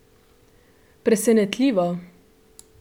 Presenetljivo?